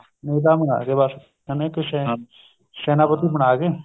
ਨੇਤਾ ਬਣਾ ਗਏ ਬੱਸ ਐਵੇਂ ਕੁੱਝ ਏ ਸੇਨਾਪਤੀ ਬਣਾ ਗਏ